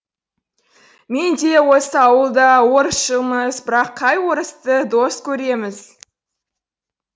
мен де осы ауыл да орысшылмыз бірақ қай орысты дос көреміз